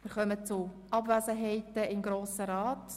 Wir kommen zu Abwesenheiten im Grossen Rat.